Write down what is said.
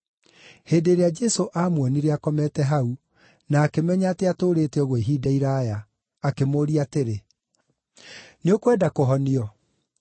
Hĩndĩ ĩrĩa Jesũ aamuonire akomete hau, na akĩmenya atĩ atũũrĩte ũguo ihinda iraaya, akĩmũũria atĩrĩ, “Nĩũkwenda kũhonio?”